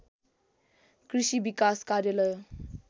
कृषि विकास कार्यालय